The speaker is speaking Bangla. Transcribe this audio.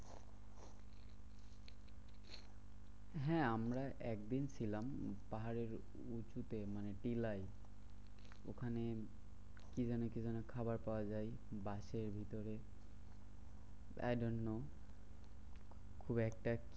হ্যাঁ আমরা একদিন ছিলাম। পাহাড়ের উঁচুতে মানে টিলায়। ওখানে কি যেন কি যেন খাবার পাওয়া যায়? বাঁশের ভিতরে I do not know. খুব একটা